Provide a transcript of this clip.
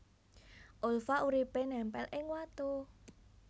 Ulva uripé némpél ing watu